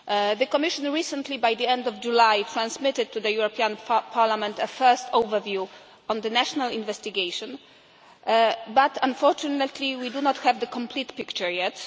The Commission recently, by the end of July, transmitted to the European Parliament a first overview on the national investigation. But unfortunately we do not have the complete picture yet.